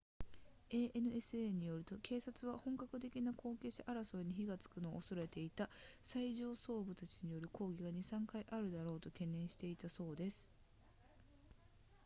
ansa によると警察は本格的な後継者争いに火がつくのを恐れていた最上層部たちによる抗争が 2～3 回あるだろうと懸念していたそうです